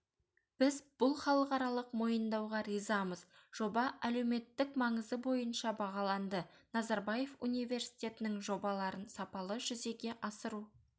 біз бұл халықаралық мойындауға ризамыз жоба әлеуметтік маңызы бойынша бағаланды назарбаев университетінің жобаларын сапалы жүзеге асыру